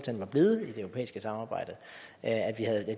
var blevet i det europæiske samarbejde at